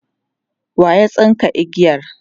waya tsinka igiyar?